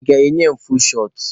I ga-enye ya fuul shọt?